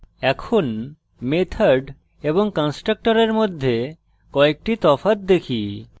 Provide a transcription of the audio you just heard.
এখন method এবং constructor মধ্যে কয়েকটি তফাৎ দেখি